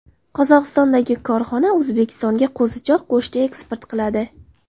Qozog‘istondagi korxona O‘zbekistonga qo‘zichoq go‘shti eksport qiladi.